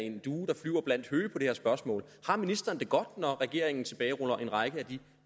en due der flyver blandt høge på det her spørgsmål har ministeren det godt når regeringen tilbageruller en række af de